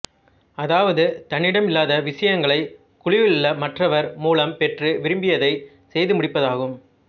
அதாவது தன்னிடமில்லாத விசயங்களை குழுவிலுள்ள மற்றவர் மூலம் பெற்று விரும்பியதை செய்து முடிப்பதாகும்